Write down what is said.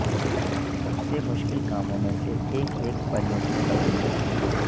سب سے مشکل کاموں میں سے ایک ایک پریوں کی تخلیق تھی